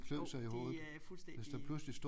Jo det er fuldstændig